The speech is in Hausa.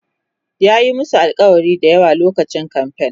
za'a Yi musu alkawali da yawa lokacin kamfen